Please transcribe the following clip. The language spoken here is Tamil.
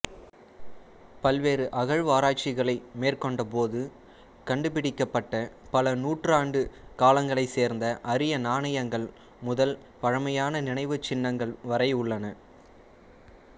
பல்வேறு அகழ்வாராய்ச்சிகளை மேற்கொண்டபோது கண்டுபிடிக்கப்பட்ட பல நூற்றாண்டு காலங்களைச் சேர்ந்த அரிய நாணயங்கள் முதல் பழமையான நினைவுச்சின்னங்கள் வரை உள்ளன